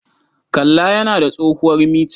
Kalla yana da tsohuwar mita.